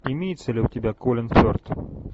имеется ли у тебя колин ферт